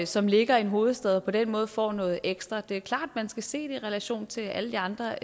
som ligger i en hovedstad og dermed får noget ekstra det er klart at man skal se det i relation til alle de andre